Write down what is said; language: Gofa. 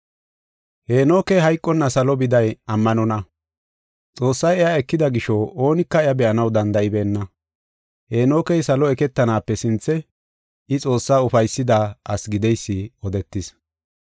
Heenokey hayqonna salo biday ammanonna. Xoossay iya ekida gisho oonika iya be7anaw danda7ibeenna. Heenokey salo eketanaape sinthe I Xoossaa ufaysida asi gideysi odetis.